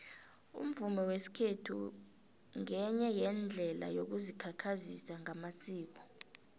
umvumo wesikhethu ngenye yeendlela yokuzikhakhazisa ngamasiko